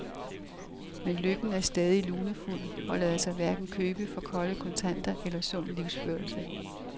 Men lykken er stadig lunefuld og lader sig hverken købe for kolde kontanter eller sund livsførelse.